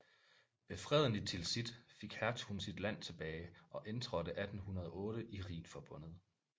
Ved Freden i Tilsit fik hertugen sit land tilbage og indtrådte 1808 i Rhinforbundet